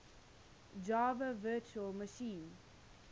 java virtual machine